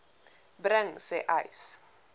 bring sê uys